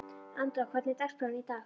Andrá, hvernig er dagskráin í dag?